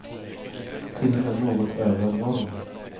Till och med något över norm.